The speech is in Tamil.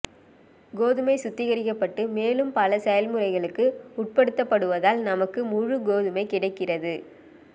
கோதுமை சுத்திகரிக்கப்பட்டு மேலும் பல செயல்முறைகளுக்கு உட்படுத்தப்படுவதால் நமக்கு முழு கோதுமை கிடைக்கிறது